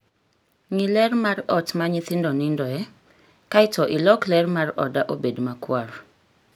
Ng'i ler mar ot ma nyithindo nindoe, kae to ilok ler mar oda obed makwar.